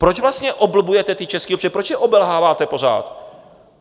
Proč vlastně oblbujete ty české občany, proč je obelháváte pořád?